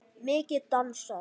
Mikið dansað.